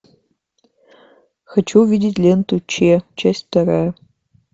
хочу увидеть ленту ч часть вторая